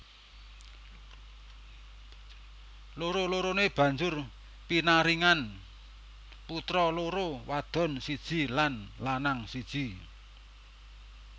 Loro loroné banjur pinaringan putra loro wadon siji lan lanang siji